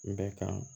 Bɛ kan